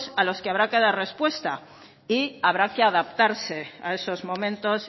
a los que habrá que dar respuesta y habrá de adaptarse a esos momentos